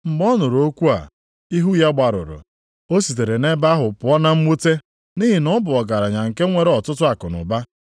Mgbe ọ nụrụ okwu a, ihu ya gbarụrụ. O sitere nʼebe ahụ pụọ na mwute, nʼihi na ọ bụ ọgaranya nke nwere ọtụtụ akụnụba.